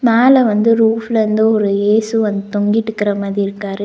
மேல வந்து ரூஃப்லந்து ஒரு இயேசு வந்து தொங்கிட்டுக்கற மாதிரி இருக்காரு.